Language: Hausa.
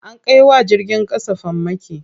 An kai wa jirgin ƙasa farmaki.